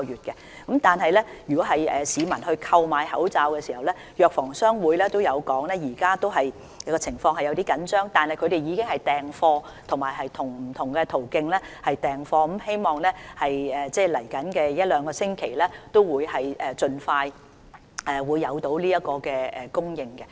有關市民購買口罩的問題，藥房商會亦指出，現時供應情況雖然有點緊張，但各藥房已經訂貨，並且透過不同途徑訂貨，希望未來一兩星期可以盡快恢復供應。